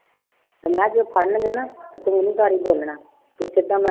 ਤੇ ਮੈਂ ਕਿਹਾ ਜੇ ਫੜਨਗੇ ਨਾ ਤੇ ਤੂੰ ਨੀ ਤੂੰ ਸਿੱਧਾ